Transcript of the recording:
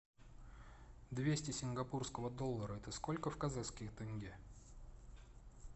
двести сингапурского доллара это сколько в казахских тенге